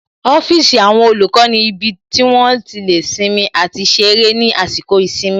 Ọ́fíìsì àwọn olùkọ́ ni ibi tí wón ti lè sinmi àti ṣeré ní àsìkò ìsinmi